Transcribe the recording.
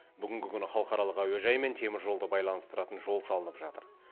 бүгінгі күні халықаралық әуежай мен теміржолды байланыстыратын жол салынып жатыр